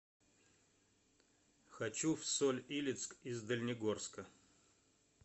хочу в соль илецк из дальнегорска